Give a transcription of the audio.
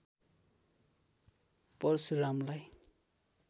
परशुरामलाई